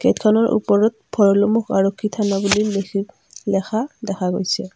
গেটখনৰ ওপৰত ভৰলুমুখ আৰক্ষী থানা বুলি লিখি লিখা দেখা গৈছে।